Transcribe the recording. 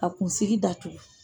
A kunsigi datugu